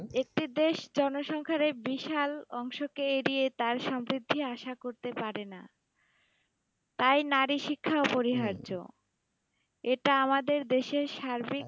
একটি দেশ জনসংখ্যার এই বিশাল অংশকে এড়িয়ে তার সাপেক্ষে আশা করতে পারে না। তাই নারী শিক্ষা অপরিহার্য। এটা আমাদের দেশের সার্বিক